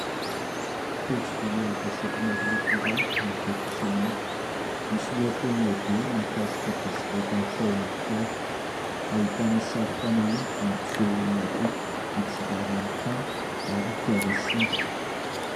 Pejy voalohan'ny gazety maro loko iray mivoaka isanandro ; misy lohateny lehibe mahakasika bisikileta nohofaon'ny fiara ; ahitana sary fanehoana mampiseho olona roa mitsirara amin'ny tany ary fiara simba.